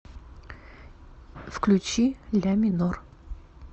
включи ля минор